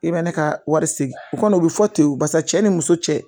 I bɛ ne ka wari segin o kɔni o bɛ fɔ ten barisa cɛ ni muso cɛ